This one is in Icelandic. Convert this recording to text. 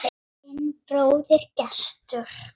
Þinn bróðir, Gestur.